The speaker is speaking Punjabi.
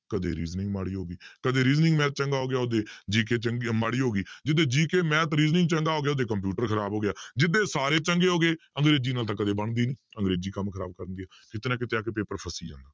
ਕਦੇ reasoning ਮਾੜੀ ਹੋ ਗਈ ਕਦੇ reasoning, math ਚੰਗਾ ਹੋ ਗਿਆ ਉਹਦੇ GK ਚੰਗੀ ਮਾੜੀ ਹੋ ਗਈ ਜਿਹਦੇ GK math, reasoning ਚੰਗਾ ਹੋ ਗਿਆ ਉਹਦੇ ਕੰਪਿਊਟਰ ਖ਼ਰਾਬ ਹੋ ਗਿਆ ਜਿਹਦੇ ਸਾਰੇ ਚੰਗੇ ਹੋ ਗਏ ਅੰਗਰੇਜ਼ੀ ਨਾਲ ਤਾਂ ਕਦੇ ਬਣਦੀ ਨੀ ਅੰਗਰੇਜ਼ੀ ਕੰਮ ਖ਼ਰਾਬ ਕਰ ਦਿੰਦੀ ਹੈ ਕਿਤੇ ਨਾ ਕਿਤੇ ਆ ਕੇ ਪੇਪਰ ਫਸ ਹੀ ਜਾਂਦਾ